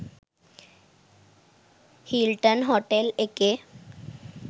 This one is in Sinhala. හිල්ටන් හොටෙල් එකේ